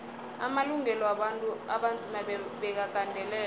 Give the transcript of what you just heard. amalungelo wabantu abanzima bekagandelelwe